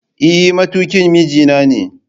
Eh matukin mijinane